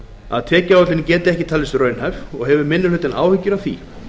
að tekjuáætlunin geti ekki talist raunhæf og hefur minni hlutinn áhyggjur af því